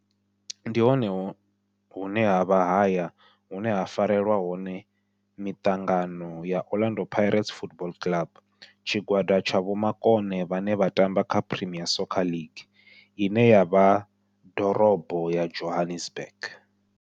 Ndi hone hune havha haya hune ha farelwa hone mitangano ya Orlando Pirates Football Club. Tshigwada tsha vhomakone vhane vha tamba kha Premier Soccer League ine ya vha Dorobo ya Johannesburg.